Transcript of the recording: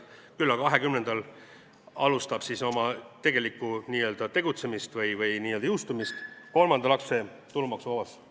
Küll aga juba 2020. aastal alustab siis oma tegelikku n-ö tegutsemist või jõustub kolmanda lapse tulumaksuvabastus.